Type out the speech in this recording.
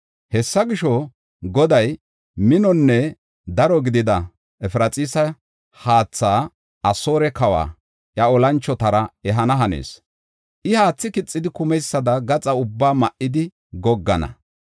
Hessa gisho, Goday minonne daro gidida Efraxiisa haatha, Asoore kawa, iya olanchotara ehana hanees. I haathi kixidi kumeysada gaxaa ubbaa ma7idi goggana.